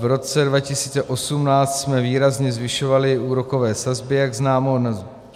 V roce 2018 jsme výrazně zvyšovali úrokové sazby, jak známo.